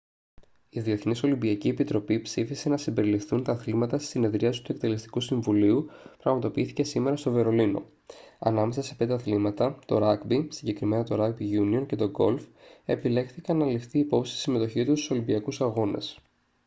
η διεθνής ολυμπιακή επιτροπή ψήφισε να συμπεριληφθούν τα αθλήματα στη συνεδρίαση του εκτελεστικού συμβουλίου που πραγματοποιήθηκε σήμερα στο βερολίνο ανάμεσα σε πέντε αθλήματα το ράγκμπι συγκεκριμένα το ράγκμπι γιούνιον και το γκολφ επιλέχθηκαν για να ληφθεί υπόψη η συμμετοχή τους στους ολυμπιακούς αγώνες